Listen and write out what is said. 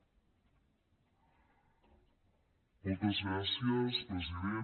moltes gràcies president